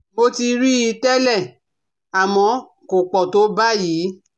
Mo ti rí i tẹ́lẹ̀, àmọ́ kò pọ̀ tó báyìí